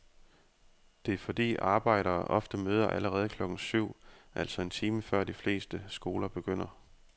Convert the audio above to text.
Det er fordi arbejdere ofte møder allerede klokken syv, altså en time før de fleste skoler begynder.